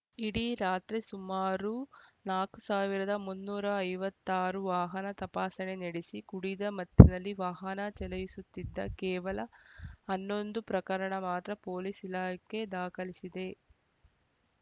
ಇಡೀ ರಾತ್ರಿ ಸುಮಾರು ನಾಲ್ಕ್ ಸಾವಿರದ ಮುನ್ನೂರ ಐವತ್ತ್ ಆರು ವಾಹನ ತಪಾಸಣೆ ನಡೆಸಿ ಕುಡಿದ ಮತ್ತಿನಲ್ಲಿ ವಾಹನ ಚಲಾಯಿಸುತ್ತಿದ್ದ ಕೇವಲ ಹನ್ನೊಂದು ಪ್ರಕರಣ ಮಾತ್ರ ಪೊಲೀಸ್‌ ಇಲಾಖೆ ದಾಖಲಿಸಿದೆ